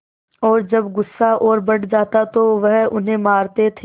और जब गुस्सा और बढ़ जाता तो वह उन्हें मारते थे